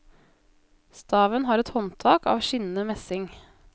Staven har et håndtak av skinnende messing.